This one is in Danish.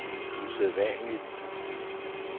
usædvanligt